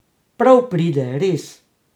Prav pride, res.